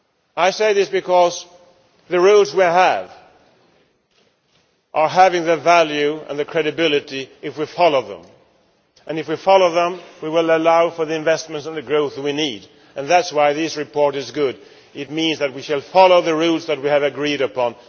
I say this because the rules we possess have value and credibility if we follow them, and if we follow them we will allow for the investments and the growth we need. That is why this report is good it means that we can follow the rules that we have agreed upon.